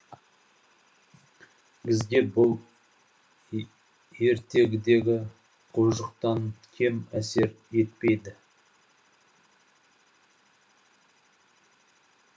бізге бұл ертегідегі құбыжықтан кем әсер етпеді